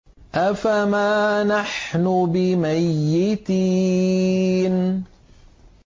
أَفَمَا نَحْنُ بِمَيِّتِينَ